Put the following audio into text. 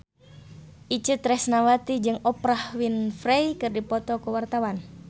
Itje Tresnawati jeung Oprah Winfrey keur dipoto ku wartawan